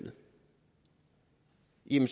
en